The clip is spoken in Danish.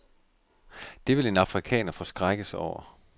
Det vil en afrikaner forskrækkes over.